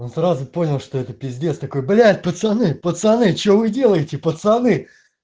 он сразу понял что это пиздец такой блять пацаны пацаны что вы делаете пацаны